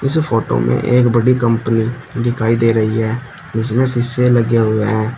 इस फोटो में एक बड़ी कंपनी दिखाई दे रही है जिसमें शीशे लगे हुए हैं।